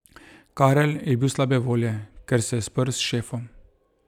Karel je bil slabe volje, ker se je sprl s šefom.